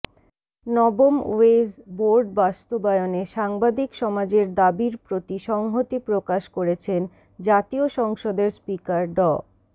নবম wage board বাস্তবায়নে সাংবাদিক সমাজের দাবির প্রতি সংহতি প্রকাশ করেছেন জাতীয় সংসদের স্পিকার ড